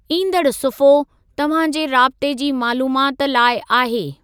ईंदड़ सुफ़्हो तव्हां जे राबते जी मालूमात लाइ आहे।